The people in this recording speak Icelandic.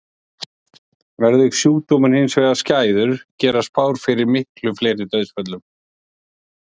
Verði sjúkdómurinn hins vegar skæður gera spár ráð fyrir miklu fleiri dauðsföllum.